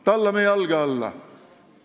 Tallame jalge alla!